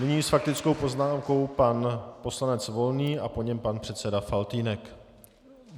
Nyní s faktickou poznámkou pan poslanec Volný a po něm pan předseda Faltýnek.